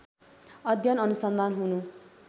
अध्ययन अनुसन्धान हुनु